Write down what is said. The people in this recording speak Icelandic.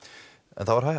það var